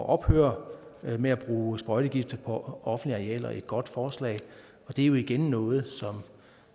ophøre med at bruge sprøjtegifte på offentlige arealer et godt forslag det er jo igen noget